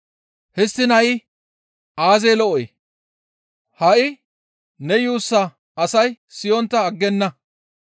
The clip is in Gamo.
Histtiin ha7i aazee lo7oy? Ha7i ne yuussa asay siyontta aggenna.